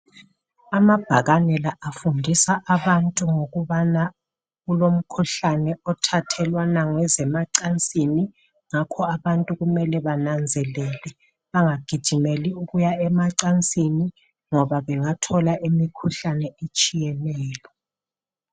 Amabhakane la afundis abantu ngokubana kulomkhuhlane othathelwanayo ngezemacansini ngakho abantu kumele bananzelele bangagijimeli ukuya emacansini ngoba bengatholi imkhuhlane etshiyeneyo